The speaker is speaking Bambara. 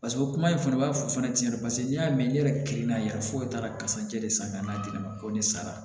Paseke o kuma in fana b'a fɔ fana tiɲɛ yɛrɛ paseke n y'a mɛn ne yɛrɛ kirinna foyi t'a la kasa jɛ de san ka n'a di ne ma ko ne sara